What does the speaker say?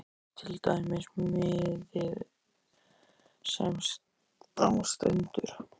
Hér er til dæmis miði sem á stendur